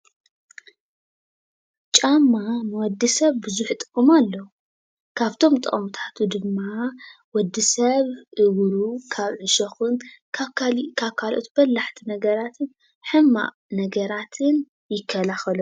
ጫማ ንወዲ ሰብ ቡዙሕ ጥቅም ኣለዎ ። ካብቶሞ ጥቅሚታት ድማ ወዲሰብ እግሩ ካሎኦት በላሕት ነገራት ዕሾክ ሕማቅ ነገራት ይካለከሎ፡፡